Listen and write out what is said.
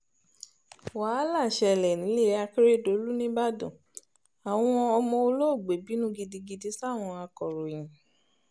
wàhálà ṣẹlẹ̀ nílẹ̀ akérédọ́lù nìbàdàn àwọn ọmọ olóògbé bínú gidigidi sáwọn akòròyìn